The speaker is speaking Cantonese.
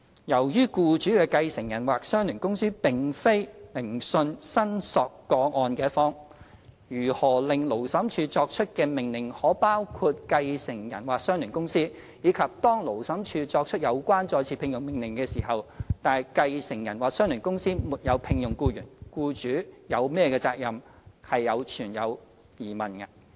由於僱主的繼承人或相聯公司並非聆訊申索個案的一方，如何令勞審處作出的命令可包括繼承人或相聯公司，以及當勞審處作出有關再次聘用命令時，但繼承人或相聯公司沒有聘用僱員，僱主有何責任，皆存在疑問。